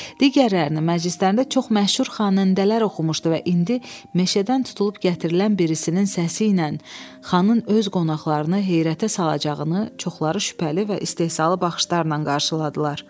Digərlərini məclislərində çox məşhur xanəndələr oxumuşdu və indi meşədən tutulub gətirilən birisinin səsi ilə xanın öz qonaqlarını heyrətə salacağını çoxları şübhəli və istehzalı baxışlarla qarşıladılar.